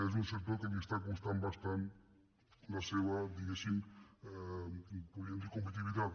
és un sector que li està costant bastant la seva diguéssim compe·titivitat